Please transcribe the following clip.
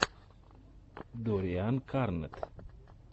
доррианкарнетт